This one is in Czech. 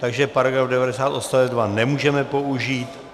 Takže § 90 odst. 2 nemůžeme použít.